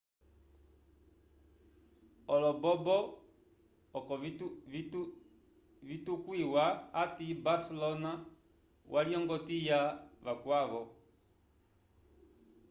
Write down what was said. olombobo oko vitukwiwa ati barcelona walyongotya vacwavo